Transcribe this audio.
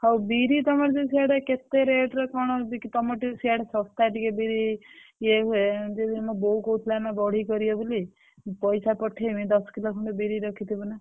ହଉ ବିରି ତମର ଯଉ ସାଡେ କେ ତେ~ rate ରେ କଣ ବିକ୍ରି ତମର ଟିକେ ସିଆଡେ ଶସ୍ତା ଟିକେ ବିରି ଇଏ ହୁଏ ଯଉ ମୋ ବୋଉ କହୁଥିଲା ନା ବଢି କରିବ ବୋଲି ପଇସା ପଠେଇବି ଦଶ କିଲୋ ଖଣ୍ଡେ ବିରି ରଖିଥିବୁ ନା।